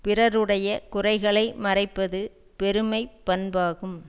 பிறருடைய குறைகளை மறைப்பது பெருமை பண்பாகும்